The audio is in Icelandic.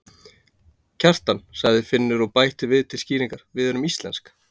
Kjartan, sagði Finnur og bætti við til skýringar: Við erum íslensk.